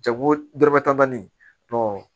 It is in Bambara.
Jago dɔrɔmɛ tan nin